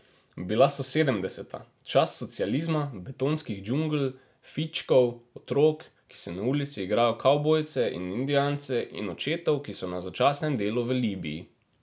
Bila so sedemdeseta, čas socializma, betonskih džungl, fičkov, otrok, ki se na ulici igrajo kavbojce in indijance, in očetov, ki so na začasnem delu v Libiji.